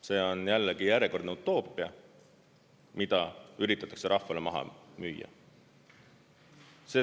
See on jällegi järjekordne utoopia, mida üritatakse rahvale maha müüa.